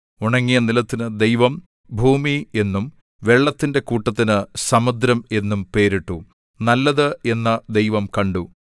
ഉണങ്ങിയ നിലത്തിനു ദൈവം ഭൂമി എന്നും വെള്ളത്തിന്റെ കൂട്ടത്തിനു സമുദ്രം എന്നും പേരിട്ടു നല്ലത് എന്നു ദൈവം കണ്ടു